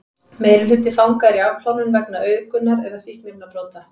meirihluti fanga er í afplánun vegna auðgunar eða fíkniefnabrota